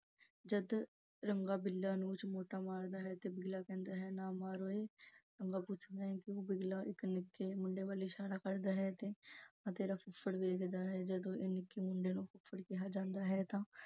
ਜਦ ਰੰਗਾ ਬਿੱਲਾ ਮੂੰਹ ਚ ਮਾਰਦਾ ਹੈ ਤੇ ਬਿੱਲਾ ਕਹਿੰਦਾ ਹੈ ਨਾ ਮਾਰ ਉਏ। ਰੰਗਾ ਪੁੱਛਦਾ ਹੈ ਤੂੰ ਬਿੱਲਾ ਇੱਕ ਨਿੱਕੇ ਮੁੰਡੇ ਵੱਲ ਇਸ਼ਾਰਾ ਕਰਦੇ ਹੈ ਤੇ ਆਹ ਤੇਰਾ ਫੁੱਫੜ ਵੇਖਦਾ ਹੈ ਇਹ ਜਦੋਂ ਨਿੱਕੇ ਮੁੰਡੇ ਨੂੰ ਫੁੱਫੜ ਕਿਹਾ ਜਾਂਦਾ ਹੈ ਤਾਂ